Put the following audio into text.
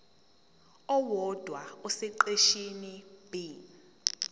owodwa esiqeshini b